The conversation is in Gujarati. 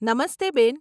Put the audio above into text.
નમસ્તે બેન.